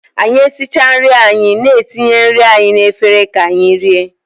Anyị esichaa nri anyị na-etinye nri anyị na efere ka anyị rie